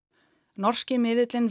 norski miðillinn